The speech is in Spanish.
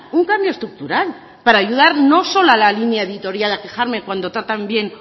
un cambio estructural para ayudar no solo a la línea editorial a quejarme cuando tratan bien